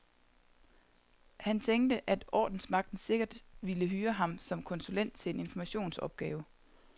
Han tænkte, at ordensmagten sikkert ville hyre ham som konsulent til en informationsopgave.